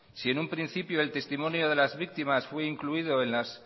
si en un principio el testimonio de las víctimas fue incluido en las